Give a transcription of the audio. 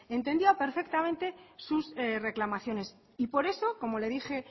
entendía perfectamente sus reclamaciones y por eso como le dije